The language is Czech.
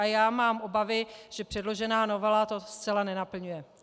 A já mám obavy, že předložená novela to zcela nenaplňuje.